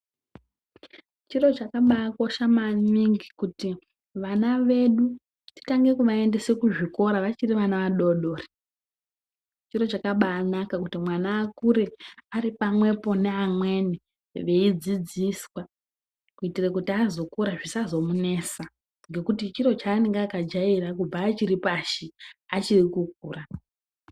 Chiro chakabaa kosha maningi kuti vana vedu titange kuvaendesa kuzvikora vachiri vana vadoodori, chiro chakabaa naka kuti mwana akure ari pamwepo neamweni veidzidziswa kuitira kuti azokura zvisazomunetsa ngokuti chiro chaanenge akajaira kubva achiri pashi achiri kukura.